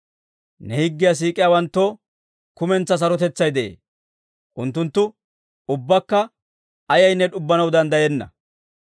Ne higgiyaa siik'iyaawanttoo kumentsaa sarotetsay de'ee; unttuntta ubbakka ayaynne d'ubbanaw danddayenna.